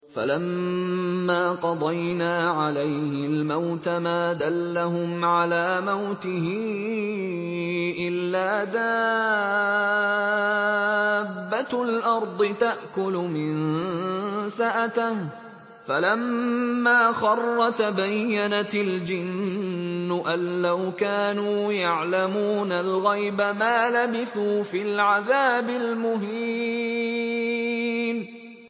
فَلَمَّا قَضَيْنَا عَلَيْهِ الْمَوْتَ مَا دَلَّهُمْ عَلَىٰ مَوْتِهِ إِلَّا دَابَّةُ الْأَرْضِ تَأْكُلُ مِنسَأَتَهُ ۖ فَلَمَّا خَرَّ تَبَيَّنَتِ الْجِنُّ أَن لَّوْ كَانُوا يَعْلَمُونَ الْغَيْبَ مَا لَبِثُوا فِي الْعَذَابِ الْمُهِينِ